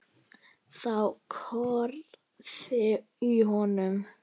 Þá korraði í honum.